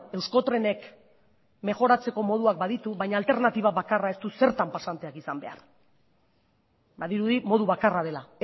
euskotrenek mejoratzeko moduak baditu baina alternatiba bakarra ez du zertan pasanteak izan behar badirudi modu bakarra dela